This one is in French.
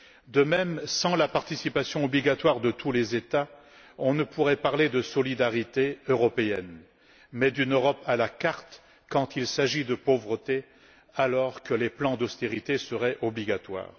De même, sans la participation obligatoire de tous les États membres, on ne pourrait parler de solidarité européenne mais d'une Europe à la carte quand il s'agit de pauvreté, alors que les plans d'austérité seraient obligatoires.